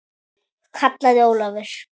kallaði Ólafur.